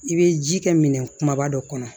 I bɛ ji kɛ minɛn kumaba dɔ kɔnɔ